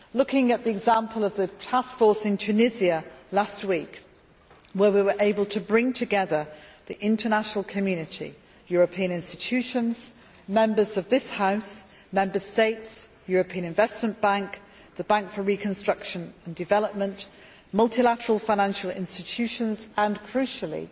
Turning to the example of the Task Force in Tunisia last week, here we were able to bring together the international community European institutions, Members of this House, Member States, the European Investment Bank, the Bank for Reconstruction and Development, multilateral financial institutions and, crucially,